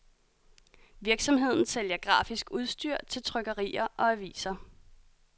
Virksomheden sælger grafisk udstyr til trykkerier og aviser.